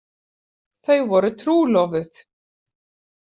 Þau voru trúlofuð.